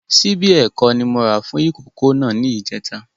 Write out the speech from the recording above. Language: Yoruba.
Ṣíbí ẹ̀kọ ni mó rà fún ìkókó náà ni ìjẹta